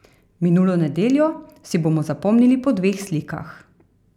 Minulo nedeljo si bomo zapomnili po dveh slikah.